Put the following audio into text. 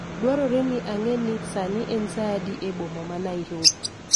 dwarore ni ang'e ni sani en saa adi e boma ma Nairobi